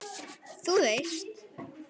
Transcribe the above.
Þú veist.